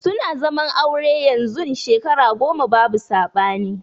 Suna zaman aure yanzun Shekara goma babu sabani.